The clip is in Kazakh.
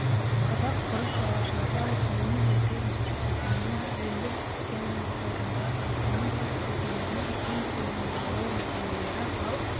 қазақ күріш шаруашылығы ғылыми зерттеу институтының әлемдік геноқорындағы арпаның сорт үлгілерінің үлкен көлемін бағалау нәтижелері арал